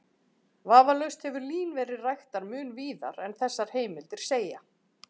Vafalaust hefur lín verið ræktað mun víðar en þessar heimildir segja.